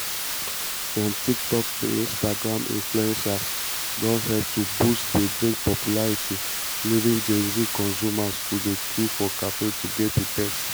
from tiktok to instagram influencers don help to boost di drink popularity leaving gen z consumers to dey queue for cafes to get a taste.